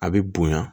A bɛ bonya